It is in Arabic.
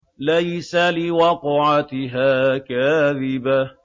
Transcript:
لَيْسَ لِوَقْعَتِهَا كَاذِبَةٌ